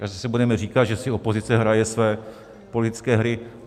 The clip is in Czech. A zase budeme říkat, že si opozice hraje své politické hry.